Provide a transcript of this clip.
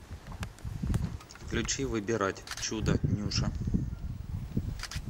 включи выбирать чудо нюша